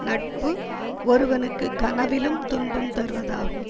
நட்பு ஒருவனுக்கு கனவிலும் துன்பம் தருவதாகும்